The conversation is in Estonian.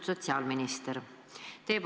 Austatud sotsiaalminister!